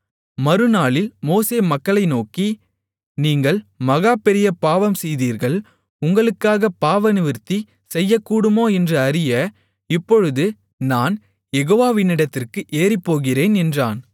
மறுநாளில் மோசே மக்களை நோக்கி நீங்கள் மகா பெரிய பாவம் செய்தீர்கள் உங்களுக்காகப் பாவநிவிர்த்தி செய்யக்கூடுமோ என்று அறிய இப்பொழுது நான் யெகோவாவினிடத்திற்கு ஏறிப்போகிறேன் என்றான்